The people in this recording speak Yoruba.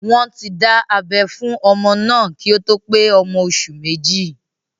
Wọ́n ti dá abẹ́ fún ọmọ náà kí ó tó pé ọmọ oṣù méjì